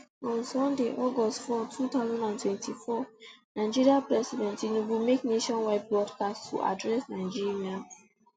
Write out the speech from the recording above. on sunday august four two thousand and twenty-four nigeria president tinubu make nationwide broadcast to address nigerians